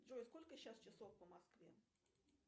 джой сколько сейчас часов по москве